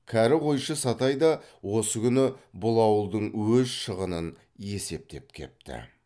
кәрі қойшы сатай да осы күні бұл ауылдың өз шығынын есептеп кепті